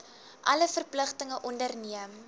alle verpligtinge onderneem